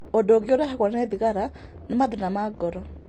Ũndũ ũngĩ ũrehagwo ni thigara ni mathĩna nĩ ngoro.